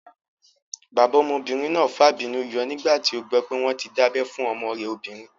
Bàbá ọmọbìnrin náà fàbínú yọ nígbà tí ó gbọ́ pé wọ́n tí dábẹ́ fún ọmọ rẹ̀ obìnrin